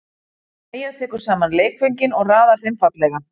Mæja tekur saman leikföngin og raðar þeim fallega.